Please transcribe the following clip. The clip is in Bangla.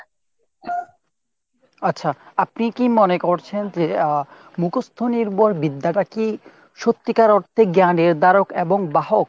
আচ্ছা আপনি কি মনে করছেন আহ মুখস্ত নির্ভর বিদ্যাটা কি সত্যিকার অর্থে জ্ঞানের দ্বারক এবং বাহক ?